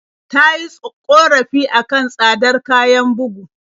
Ta yi ƙorafi a kan tsadar kayan bugu.